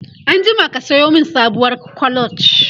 anjima ka Sayo min sabuwar clutch!